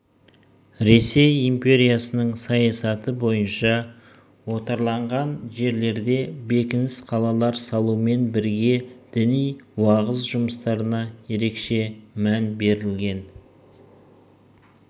ресей империясының саясаты бойынша отарланған жерлерге бекініс қалалар салумен бірге діни уағыз жұмыстарына ерекше мән берілген